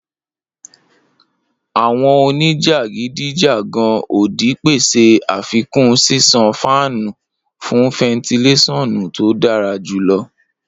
Awọn onijakidijagan odi pese afikun ṣiṣan fáànù fun fentilesonu to dara julọ.